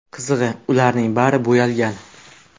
Qizig‘i, ularning bari bo‘yalgan.